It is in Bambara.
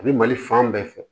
A bi mali fan bɛɛ fɛ